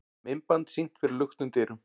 Myndband sýnt fyrir luktum dyrum